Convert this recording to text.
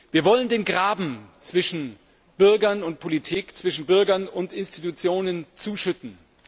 Wir wollen den Graben zwischen Bürgern und Politik, zwischen Bürgern und Institutionen zuschütten.